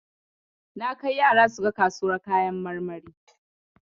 Na kai yara suga kasuwar kayan marmari.